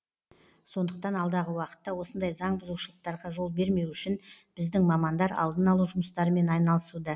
сондықтан алдағы уақытта осындай заңбұзушылықтарға жол бермеу үшін біздің мамандар алдын алу жұмыстарымен айналысуда